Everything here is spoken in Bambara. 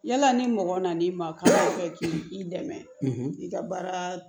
Yala ni mɔgɔ nan'i ma k'i dɛmɛ i ka baara